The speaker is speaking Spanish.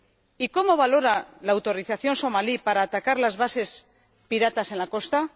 y ¿cómo valora la autorización somalí para atacar las bases piratas en la costa?